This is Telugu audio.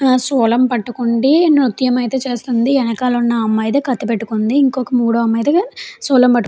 సూలం పట్టుకుంది నృత్యం ఐతే చేస్తుంది. ఎనకాల ఉన్న అమ్మాయి ఐతే కత్తి పట్టుకుంది ఇంకో మూడో అమ్మాయి దె సూలం పట్టు --